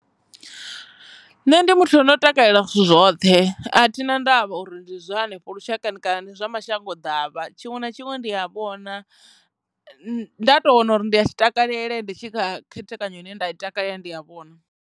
Nṋe ndi muthu ano takalela zwithu zwoṱhe a thi na ndavha uri ndi zwa hanefho lushakani kana ndi zwa mashango davha tshiṅwe na tshiṅwe ndi a vhona nda tou wana uri ndi a tshi takalele ndi tshi khethekanyo ine nda i takalela ndi a vhona.